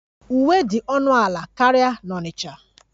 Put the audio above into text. Uwe dị ọnụ ala karịa na Onitcha